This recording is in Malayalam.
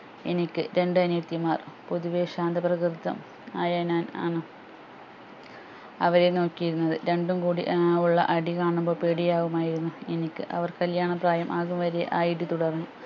എനിക്ക് രണ്ട് അനിയത്തിമാർ പൊതുവെ ശാന്ത പ്രകൃതം ആയ ഞാൻ ആണ് അവരെ നോക്കിയിരുന്നത് രണ്ടും കൂടി ഏർ ഉള്ള അടികാണുമ്പോൾ പേടിയാകുമായിരുന്നു എനിക്ക് അവർ കല്യാണ പ്രായം ആവും വരെ ആ ഇടി തുടർന്നു